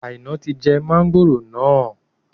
Aina tí jẹ mọ̀ngòrò náà